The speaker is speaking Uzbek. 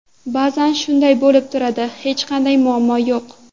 Ba’zan shunday bo‘lib turadi, hech qanday muammo yo‘q.